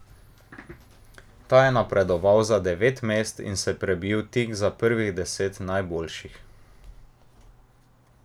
Ta je napredoval za devet mest in se prebil tik za prvih deset najboljših.